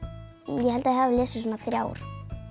ég held ég hafi lesið svona þrjár